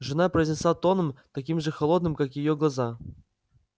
жена произнесла тоном таким же холодным как и её глаза